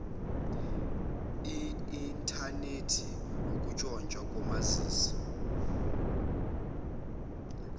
inthanethi ukutshontshwa komazizi